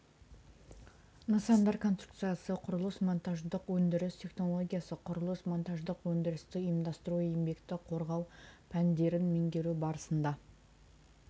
нысандар конструкциясы құрылыс монтаждық өндіріс технологиясы құрылыс монтаждық өндірісті ұйымдастыру еңбекті қорғау пәндерін меңгеру барысында